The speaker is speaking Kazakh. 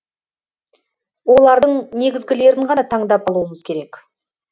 олардың негізгілерін ғана таңдап алуымыз керек